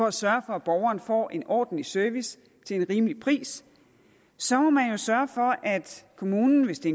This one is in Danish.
at sørge for at borgeren får en ordentlig service til en rimelig pris så må man jo sørge for at kommunen hvis det